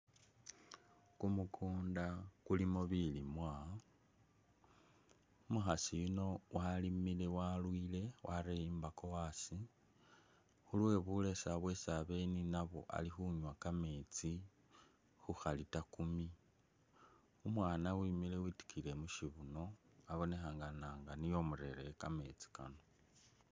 Kumukunda kulimo bilimwa ,umukhasi yuno walimile walwile wareye imbako asi khulwe bulesa bwesi abele ninabwo ali khunwa kamesti khukha liter kumi ,umwana wimile witikiyile mushibuno abonekhana nga nio umurereye kamesti kano.